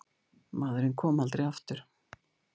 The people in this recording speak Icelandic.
Maðurinn kom aldrei aftur.